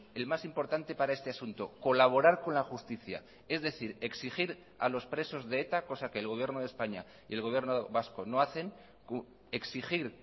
el más importante para este asunto colaborar con la justicia es decir exigir a los presos de eta cosa que el gobierno de españa y el gobierno vasco no hacen exigir